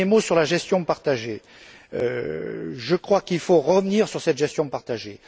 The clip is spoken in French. Un dernier mot sur la gestion partagée je crois qu'il faut revenir sur cette gestion partagée.